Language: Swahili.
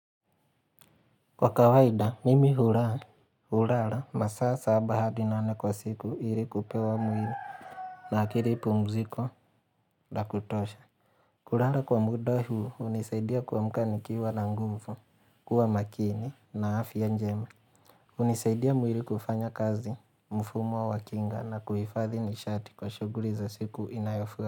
Kwa kawaida, mimi hula, hulala, masaa saba hadi nane kwa siku ili kupewa mwili na akili pumziko la kutosha. Kulala kwa muda hu hunisaidia kuamka ni kiwa na nguvu, kuwa makini na afya njema. Hunisaidia mwili kufanya kazi mfumo wa kinga na kuhifadhi nishati kwa shughuli za siku inayofua.